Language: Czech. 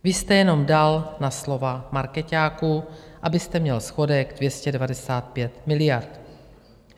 Vy jste jenom dal na slova markeťáků, abyste měl schodek 295 miliard.